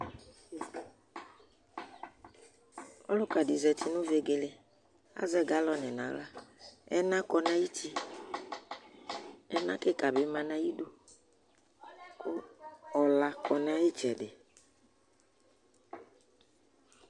Ɔluka ɖi zɛti ŋu vegele Azɛ galone ŋu aɣla Ɛna kɔ ŋu ayʋti Ɛna kikaɖi ɖi bi ma ŋu ayʋidu Ɔla kɔ ŋu ayʋ itsɛɖi